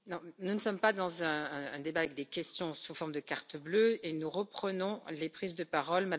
Nous ne sommes pas dans un débat avec des questions sous forme de cartons bleus et nous reprenons les prises de parole.